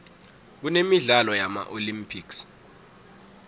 kunemidlalo yama olympics